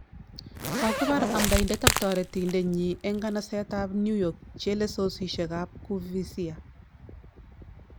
Kokipar amdoindet ak tarotendet nyin en nganaset ab newyork chelesosiek ab kuvizia